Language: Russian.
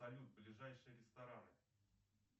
салют ближайшие рестораны